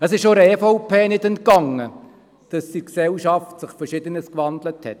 Es ist auch der EVP nicht entgangen, dass sich in der Gesellschaft Verschiedenes gewandelt hat.